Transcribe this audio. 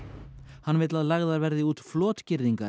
hann vill að lagðar verði út